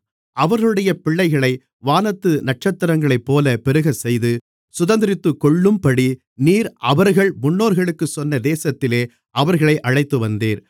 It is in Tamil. அவர்களுடைய பிள்ளைகளை வானத்து நட்சத்திரங்களைப்போலப் பெருகச்செய்து சுதந்தரித்துக்கொள்ளும்படி நீர் அவர்கள் முன்னோர்களுக்குச் சொன்ன தேசத்திலே அவர்களை அழைத்துவந்தீர்